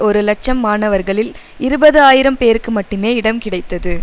ஒரு இலட்சம் மாணவர்களில் இருபது ஆயிரம் பேருக்கு மட்டுமே இடம் கிடைத்தது